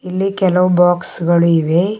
ಇಲ್ಲಿ ಕೆಲವು ಬಾಕ್ಸ್ ಗಳು ಇವೆ.